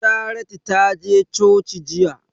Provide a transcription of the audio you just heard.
Charity ta je coci jiya